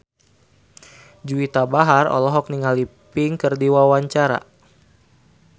Juwita Bahar olohok ningali Pink keur diwawancara